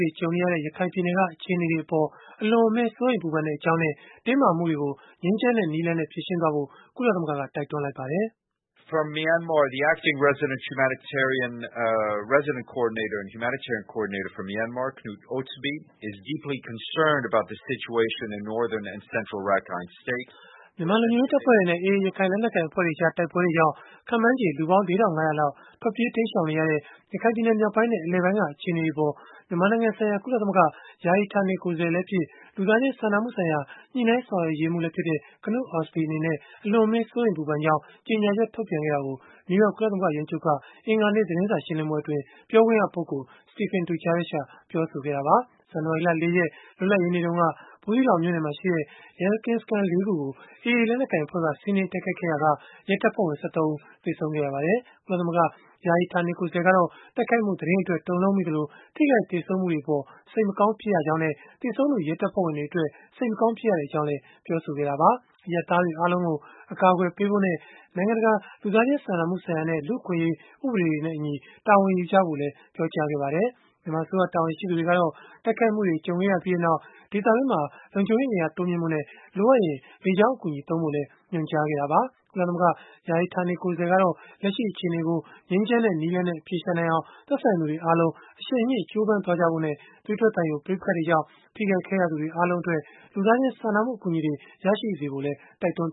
တွေ ကြုံနေရတဲ့ ရခိုင်ပြည်နယ်က အခြေအနေတွေအပေါ် အလွန်အမင်း စိုးရိမ်ပူပမ်ကြောင်းနဲ့ တင်းမာမှုတွေကို ငြိမ်းချမ်းတဲ့ နည်းလမ်းနဲ့ ဖြေရှင်းဖို့ ကုလသမဂ္ဂက တိုက်တွန်းလိုက်ပါတယ်။ မြန်မာလုံခြုံရေး တပ်ဖွဲ့တွေနဲ့ AA ရခိုင်လက်နက်ကိုင် အဖွဲ့တို့ကြား တိုက်ပွဲတွေကြောင့် ခန့်မှန်းချေ လူပေါင်း ၄,၅၀၀ လောက် ထွက်ပြေးတိမ်းရှောင်နေရတဲ့ ရခိုင်ပြည်နယ် မြောက်ပိုင်းနဲ့ အလယ်ပိုင်းက အခြေအနေတွေအပေါ် မြန်မာနိုင်ငံဆိုင်ရာ ကုလသမဂ္ဂ ယာယီဌာနေ ကိုယ်စားလှယ်လည်းဖြစ်၊ လူသားချင်း စာနာမှုဆိုင်ရာ ညှိနှိုင်းဆောင်ရွက်ရေးမှူးလည်းဖြစ်တဲ့ Knut Ostby အနေနဲ့ အလွန်အမင်း စိုးရိမ်ပူပမ်ကြောင်း ကြေညာချက်ထုတ်ပြန်ခဲ့တာကို နယူးယောက် ကုလသမဂ္ဂ ရုံးချုပ်က အင်္ဂါနေ့ သတင်းစာရှင်းလင်းပွဲအတွင်း ပြောခွင့်ရပုဂ္ဂိုလ် Stephane Dujarric က ပြောဆိုခဲ့တာပါ။ ဇန်နဝါရီလ ၄ ရက်၊ လွတ်လပ်ရေးနေ့တုန်းက ဘူးသီးတောင်မြို့နယ်မှာရှိတဲ့ ရဲကင်းစခန်း ၄ ခုကို AA လက်နက်ကိုင် အဖွဲ့က စီးနင်းတိုက်ခိုက်ခဲ့ရာက ရဲတပ်ဖွဲ့ဝင် ၁၃ ဦး သေဆုံးခဲ့ပါတယ်။ ကုလသမဂ္ဂ ယာယီဌာနေ ကိုယ်စားလှယ်ကတော့ တိုက်ခိုက်မှု သတင်းအတွက် တုန်လှုပ်မိသလို၊ ထိခိုက်သေဆုံးမှုတွေအပေါ် စိတ်မကောင်းဖြစ်ရကြောင်းနဲ့၊ သေဆုံးသူ ရဲတပ်ဖွဲ့ဝင်တွေ အတွက် စိတ်မကောင်းဖြစ်ရကြောင်းလည်း ပြောဆိုခဲ့တာပါ။ အရပ်သားတွေ အားလုံးကို အကာအကွယ်ပေးဖို့နဲ့ နိုင်ငံတကာ လူသားချင်း စာနာမှုဆိုင်ရာနဲ့ လူ့အခွင့်အရေး ဥပဒေတွေနဲ့အညီ တာဝန်ယူကြဖို့လည်း ပြောကြားခဲ့ပါတယ်။ မြန်မာအစိုးရ တာဝန်ရှိသူတွေကတော့ တိုက်ခိုက်မှုတွေ ကြုံခဲ့ရပြီးနောက် ဒေသတွင်းမှာ လုံခြုံရေးအင်အား တိုးမြှင့်ဖို့နဲ့ လိုအပ်ရင် လေကြောင်းအကူအညီ သုံးဖို့လည်း ညွန်ကြားခဲ့တာပါ။ ကုလသမဂ္ဂ ယာယီဌာနေ ကိုယ်စားလှယ်ကတော့ လက်ရှိအခြေအနေကို ငြိမ်းချမ်းတဲ့ နည်းလမ်းနဲ့ အဖြေရှာနိုင်အောင် သက်ဆိုင်သူတွေအားလုံး အရှိန်မြှင့် ကြိုးပမ်ကြဖို့နဲ့ သွေးထွက်သံယို ပဋိပက္ခတွေကြောင့် ထိခိုက်ခဲ့ရသူတွေ အားလုံးအတွက် လူသားချင်းစာနာမှု အကူအညီတွေ ရရှိစေဖို့လည်း တိုက်တွန်း